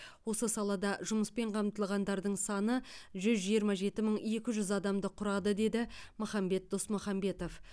осы салада жұмыспен қамтылғандардың саны жүз жиырма жеті мың екі жүз адамды құрады деді махамбет досмұхамбетов